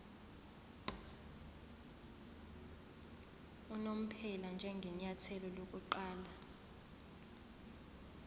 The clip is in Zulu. unomphela njengenyathelo lokuqala